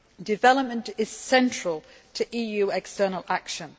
Development is central to EU external action.